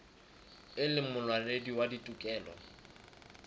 e leng molwanedi wa ditokelo